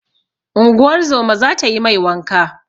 Unguwar zoma za ta yi mai wanka.